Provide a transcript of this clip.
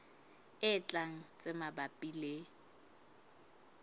e tlang tse mabapi le